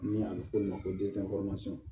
Ni a be f'o ma ko